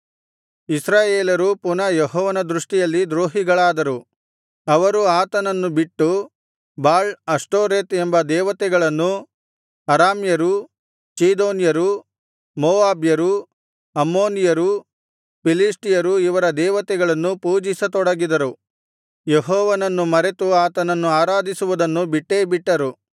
ಇಸ್ರಾಯೇಲರು ಪುನಃ ಯೆಹೋವನ ದೃಷ್ಟಿಯಲ್ಲಿ ದ್ರೋಹಿಗಳಾದರು ಅವರು ಆತನನ್ನು ಬಿಟ್ಟು ಬಾಳ್ ಅಷ್ಟೋರೆತ್ ಎಂಬ ದೇವತೆಗಳನ್ನೂ ಅರಾಮ್ಯರು ಚೀದೋನ್ಯರು ಮೋವಾಬ್ಯರು ಅಮ್ಮೋನಿಯರು ಫಿಲಿಷ್ಟಿಯರು ಇವರ ದೇವತೆಗಳನ್ನೂ ಪೂಜಿಸತೊಡಗಿದರು ಯೆಹೋವನನ್ನು ಮರೆತು ಆತನನ್ನು ಆರಾಧಿಸುವುದನ್ನು ಬಿಟ್ಟೇಬಿಟ್ಟರು